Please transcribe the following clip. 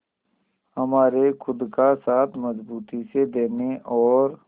हमारे खुद का साथ मजबूती से देने और